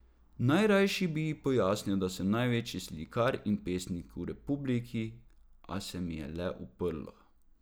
Najrajši bi ji pojasnil, da sem največji slikar in pesnik v republiki, a se mi je le uprlo.